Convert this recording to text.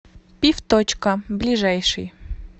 пивточка ближайший